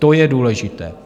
To je důležité.